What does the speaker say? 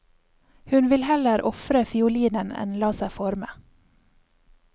Hun vil heller ofre fiolinen enn la seg forme.